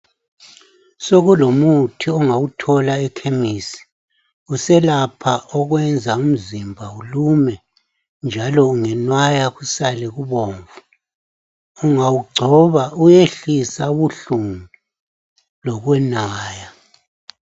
Sokulomuthi ongawuthola ekhemisi, uselapha okwenza umzimba ulume njalo ngenwaya kusale kubomvu. Ungawugcoba uyehlisa ubuhlungu lokwenwaya.